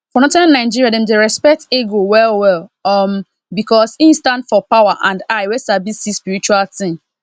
for northern nigeria dem dey respect eagle well well um because e stand for power and eye wey sabi see spiritual thing